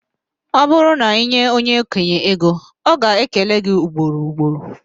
Ọ bụrụ na inye onye okenye ego, o ga-ekele gị ugboro ugboro